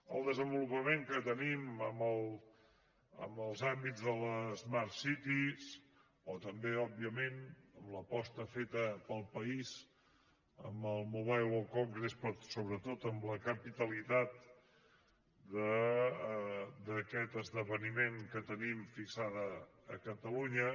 el desenvolupament que tenim en els àmbits de les smart cities o també òbviament l’aposta feta pel país amb el mobile world congress però sobretot amb la capitalitat d’aquest esdeveniment que tenim fixada a catalunya